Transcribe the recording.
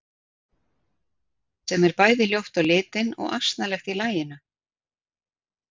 Sem er bæði ljótt á litinn og asnalegt í laginu.